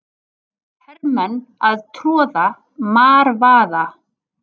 Hermenn að troða marvaða.